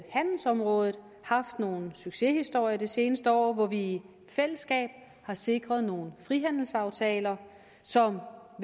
handelsområdet haft nogle succeshistorier det seneste år hvor vi i fællesskab har sikret nogle frihandelsaftaler som